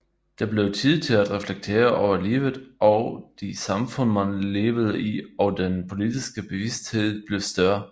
Der blev tid til at reflektere over livet og det samfund man levede i og den politiske bevidsthed blev større